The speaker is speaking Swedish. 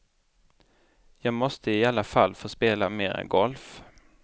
Jag måste i alla fall få spela mera golf.